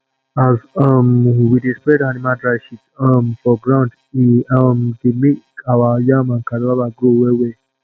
as um we dey spread animal dry shit um for ground e um dey make our yam and cassava grow wellwell